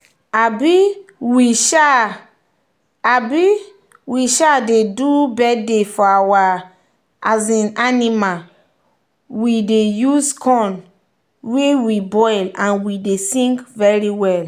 um we um dey do bithday for our um animal we dey use corn wey we boil and we dey sing very well.